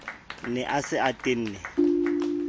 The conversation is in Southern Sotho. ne a se a tenne